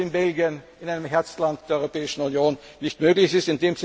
wenn das in Belgien einem Herzland der Europäischen Union nicht möglich